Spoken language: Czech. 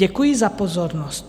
Děkuji za pozornost."